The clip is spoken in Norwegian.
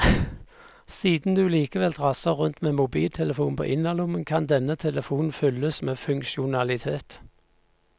Siden du likevel drasser rundt med en mobiltelefon på innerlommen, kan denne telefonen fylles med funksjonalitet.